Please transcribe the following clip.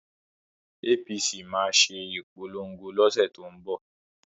APC máa ṣe ìpolongo lọ́sẹ̀ tó ń bọ̀